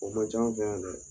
O ma ca an fɛ yan dɛ